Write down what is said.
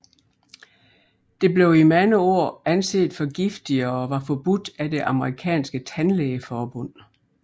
Det blev i mange år anset for giftigt og var forbudt af det amerikanske tandlægeforbund